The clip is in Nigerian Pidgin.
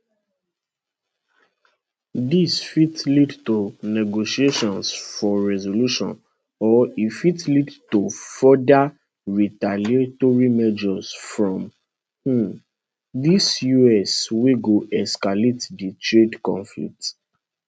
dis fit lead to negotiations for resolution or e fit lead to further retaliatory measures from um di us wey go escalate di trade conflict